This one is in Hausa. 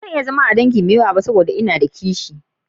Ba zan iya zama a dangantakan fiyar da daya ba dan n'na da kishi.